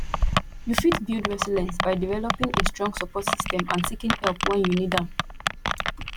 you fit build resilience by developing a strong support system and seeking help when you need am